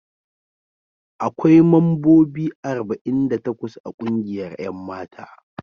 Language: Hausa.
Akwai mambobi arba'in da takwas a kungiyar 'yan mata.